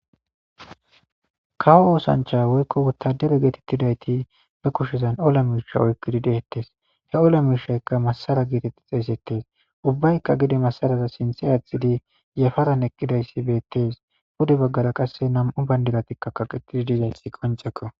Kawo oosancha woykko wuttadere geetettidayti ba kushezan ola miisha oykkidi deettes he ola miishayka masara geetetti xeesettes ubbaykka gidi masaraza sinthe aathidi yafaran eqqidayssi beettes bude baggara qasse nam'u bandiratikka kaqetidi diizayssi qonceko